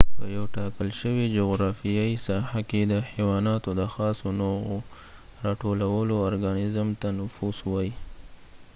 په یو ټاکل شوي جغرافیایې ساحه کې د حیواناتو د خاصو نوعو راټولولو ارګانزم ته نفوس وایي